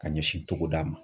Ka ɲɛsin togoda ma.